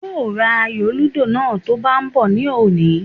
Yóò ra ayò lúdò náà tó ń bá bọ̀ ní òní